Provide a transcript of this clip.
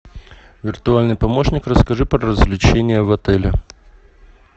виртуальный помощник расскажи про развлечения в отеле